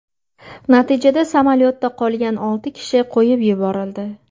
Natijada samolyotda qolgan olti kishi qo‘yib yuborildi.